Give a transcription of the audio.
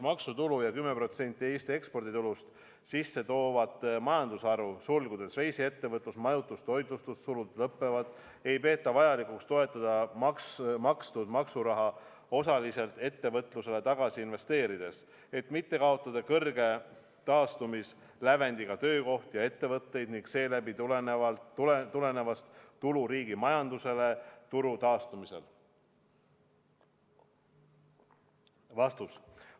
maksutulu ja 10% Eesti eksporditulust sisse toovat majandusharu ei peeta vajalikuks toetada makstud maksuraha osaliselt ettevõtlusse tagasi investeerides, et mitte kaotada kõrge taastumislävendiga töökohti ja ettevõtteid ning seeläbi tulevast tulu riigi majandusele turu taastumisel?